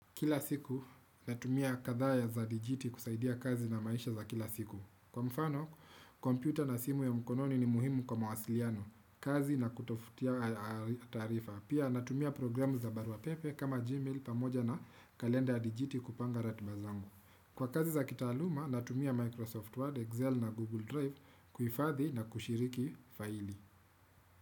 Kila siku natumia kadhaya za Digiti kusaidia kazi na maisha za kila siku. Kwa mfano, kompyuta na simu ya mkononi ni muhimu kwa mwasiliano, kazi na kutafutia aahh mm taarifa. Pia natumia programu za barua pepe kama Gmail pamoja na kalenda ya digitii kupanga ratiba zangu Kwa kazi za kitaaluma, natumia Microsoft Word, Excel na Google Drive kuhifathi na kushiriki faili.